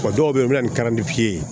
O dɔw bɛ yen u bɛ na ni ye